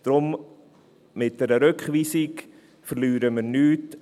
Daher: Mit einer Rückweisung verlieren wir nichts.